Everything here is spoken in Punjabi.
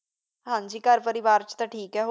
ਹਾਂਜੀ ਘਰ ਪਰਿਵਾਰ ਚ ਤਾ ਠੀਕ ਹੈ